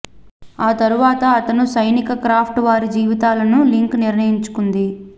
ఆ తరువాత అతను సైనిక క్రాఫ్ట్ వారి జీవితాలను లింక్ నిర్ణయించుకుంది